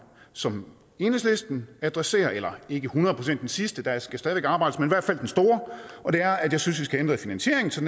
som enhedslisten adresserer eller ikke hundrede procent den sidste der skal stadig arbejdes men i hvert fald den store og det er at jeg synes at vi skal ændre i finansieringen så